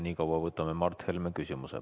Nii kaua võtame Mart Helme küsimuse.